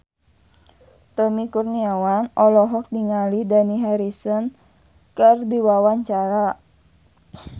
Tommy Kurniawan olohok ningali Dani Harrison keur diwawancara